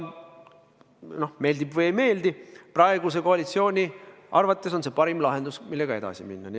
Aga meeldib või ei meeldi, praeguse koalitsiooni arvates on see parim lahendus, millega edasi minna.